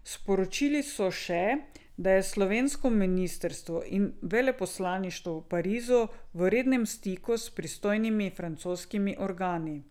Sporočili so še, da je slovensko ministrstvo in veleposlaništvo v Parizu v rednem stiku s pristojnimi francoskimi organi.